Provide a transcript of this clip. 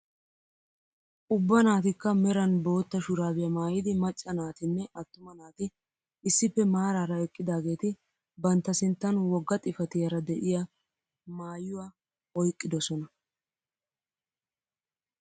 Ubba naatikka meran bootta shuraabiyaa maayidi macca naatinne attuma naati issippe maarara eqqidaageti bantta sinttan wogga xifatiyaara de'iyaa maayuwaa oyqqidosona.